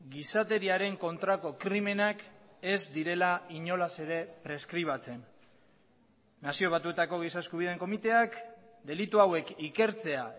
gizateriaren kontrako krimenak ez direla inolaz ere preskribatzen nazio batuetako giza eskubideen komiteak delitu hauek ikertzea